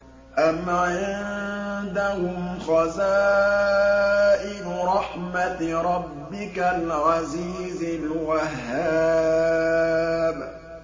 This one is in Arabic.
أَمْ عِندَهُمْ خَزَائِنُ رَحْمَةِ رَبِّكَ الْعَزِيزِ الْوَهَّابِ